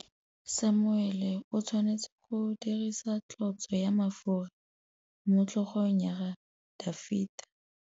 Samuele o tshwanetse go dirisa tlotsô ya mafura motlhôgong ya Dafita.